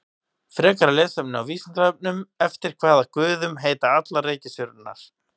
Frekara lesefni á Vísindavefnum: Eftir hvaða guðum heita allar reikistjörnurnar?